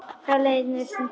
Hjartað herti á sér.